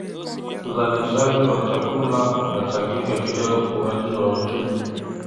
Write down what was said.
Uzalishaji wa chakula unachangia katika ukuaji wa uchumi.